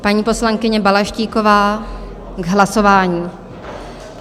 Paní poslankyně Balaštíková k hlasování.